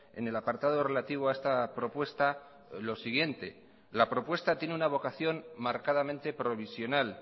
en el apartado relativo a esta propuesta lo siguiente la propuesta tiene una vocación marcadamente provisional